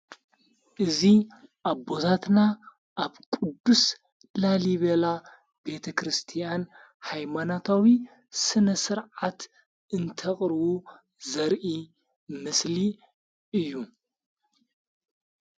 እዙ ኣቦዛትና ኣብ ቅዱስ ላሊቤላ ቤተ ክርስቲያን ኃይማናታዊ ስነ ሥርዓት እንተቕርቡ ዘርኢ ምስሊ እዩ።